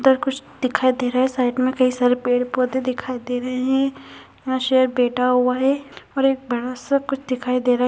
उधर कुछ दिखाई दे रहा है साइड मे कई सारे पेड़-पौधे दिखाई दे रहे है यहाँ शेर बैठा हुआ है और एक बड़ा सा कुछ दिखाई दे रहा --